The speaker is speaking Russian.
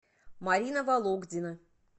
марина вологдина